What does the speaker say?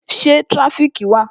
Ṣé tirafiki wà?